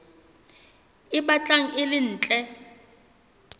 e batlang e le ntle